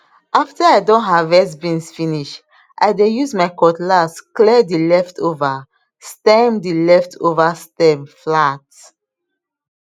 after i don harvest beans finish i dey use my cutlass clear the leftover stem the leftover stem flat